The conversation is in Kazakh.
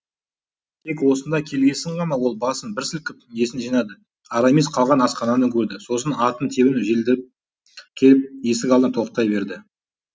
тек осында келгесін ғана ол басын бір сілкіп есін жинады арамис қалған асхананы көрді сосын атын тебініп желдіріп келіп есік алдына тоқтай берді